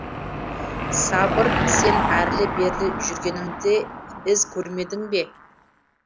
сабыр сен әрлі берлі жүргеніңде із көрмедің бе